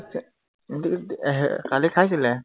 এৰ আহ কালি খাইছিলে